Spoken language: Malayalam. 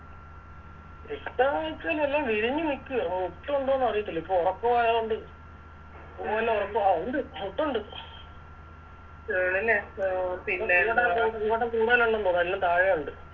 കിട്ടോയിച്ച എല്ലാം വിരിഞ്ഞ് നിക്കുവാ മോട്ടൊണ്ടോന്ന് അറിയത്തില്ല ഇപ്പൊ ആയത് കൊണ്ട് പൂവെല്ലാം ഒറപ്പ് ആ ഒണ്ട് മോട്ടൊണ്ട് അഹ് പിന്നെ എല്ലാം താഴെയുണ്ട്